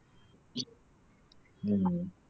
உம்